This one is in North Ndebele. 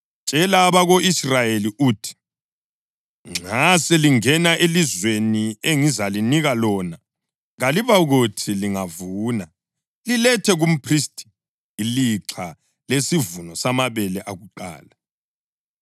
“Tshela abako-Israyeli uthi, ‘Nxa selingene elizweni engizalinika lona kalibokuthi lingavuna lilethe kumphristi ilixha lesivuno samabele akuqala.